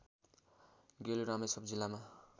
गेलु रामेछाप जिल्लामा